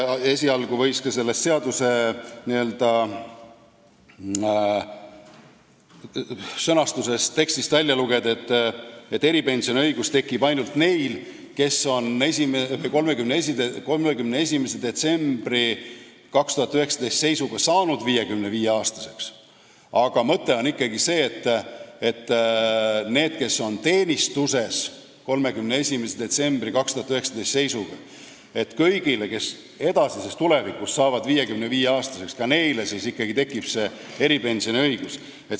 Esialgu võis sellest sõnastusest välja lugeda, et eripensioni õigus tekib ainult neil, kes on 31. detsembri 2019. aasta seisuga saanud 55-aastaseks, aga mõte on ikkagi see, et kõigil neil, kes on teenistuses 31. detsembri 2019 seisuga ja tulevikus saavad 55-aastaseks, tekib eripensioni saamise õigus.